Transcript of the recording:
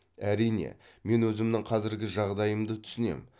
әрине мен өзімнің қазіргі жағдайымды түсінем